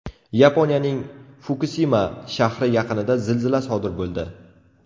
Yaponiyaning Fukusima shahri yaqinida zilzila sodir bo‘ldi.